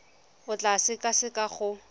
o tla e sekaseka go